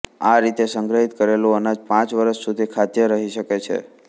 આ રીતે સંગ્રહિત કરેલું અનાજ પાંચ વરસ સુધી ખાદ્ય રહી શકે છે